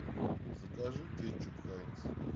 закажи кетчуп хайнс